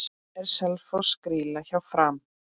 Er Selfoss grýla hjá Fram?